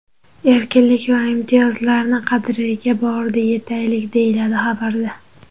Erkinlik va imtiyozlarni qadriga borida yetaylik!”, deyiladi xabarda.